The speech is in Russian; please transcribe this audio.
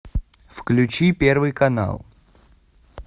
включи первый канал